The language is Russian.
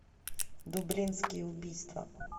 дублинские убийства